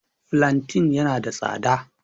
Fulanten ya na da tsada